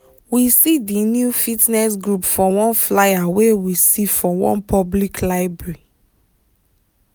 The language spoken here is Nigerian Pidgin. we see di new fitness group for one flyer wey we see for one public library